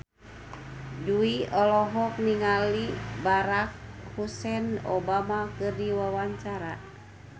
Jui olohok ningali Barack Hussein Obama keur diwawancara